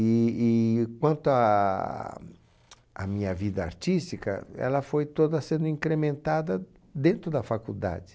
E e quanto à tch à minha vida artística, ela foi toda sendo incrementada dentro da faculdade.